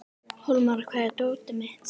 Hólmar, hvar er dótið mitt?